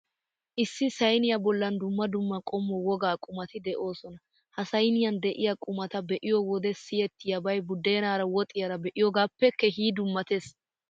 Issi sayniyaa bollan dumma dumma qommo wogaa qumati de'oosona. Ha sayniyan de'iyaa qumata be'iyo wode siyettiyaabay budeenaara woxiyaara be'iyogaappe keehi dummattees.